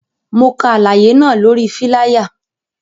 Mo ka alaye náa lori filaya